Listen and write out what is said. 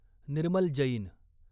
Nirmal Jain